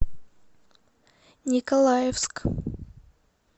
николаевск